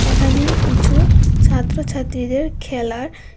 এখানে কিছু ছাত্র ছাত্রীদের খেলার--